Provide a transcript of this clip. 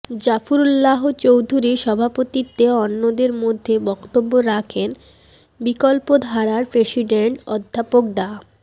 জাফরুল্লাহ চৌধুরীর সভাপতিত্বে অন্যদের মধ্যে বক্তব্য রাখেন বিকল্পধারার প্রেসিডেন্ট অধ্যাপক ডা